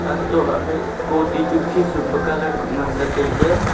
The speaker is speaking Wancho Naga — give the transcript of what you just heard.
antoh lahley scooty chu khisum pe colour kuh ngan ley tailey.